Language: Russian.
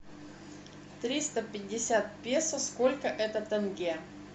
триста пятьдесят песо сколько это тенге